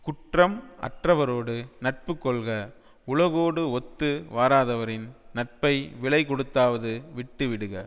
குற்றம் அற்றவரோடு நட்பு கொள்க உலகோடு ஒத்து வராதவரின் நட்பை விலை கொடுத்தாவது விட்டு விடுக